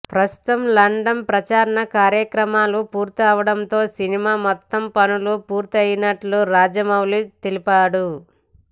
ప్రస్తుతం లండన్ ప్రచార కార్య క్రమాలు పూర్తి అవడం తో సినిమా మొత్తం పనులు పూర్తి అయ్యినట్లు రాజమౌళి తెలిపాడు